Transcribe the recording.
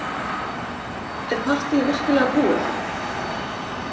Er partýið virkilega búið?